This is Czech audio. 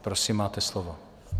Prosím, máte slovo.